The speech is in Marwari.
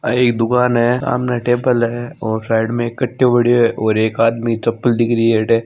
और एक दुकान है सामने टेबल हैऔर साइड में एक काट्यो पड्यो है और एक आदमी चप्पल दिख रहीयो है अट्ठ --